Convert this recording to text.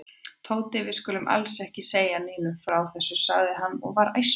Tóti, við skulum alls ekki segja Nínu frá þessu sagði hann og var æstur.